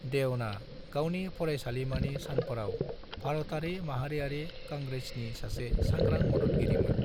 देवना गावनि फरायसालिमानि सानफोराव भारतारि माहारियारि कंग्रेसनि सासे सांग्रां मददगिरिमोन।